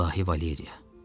İlahi Valeriya.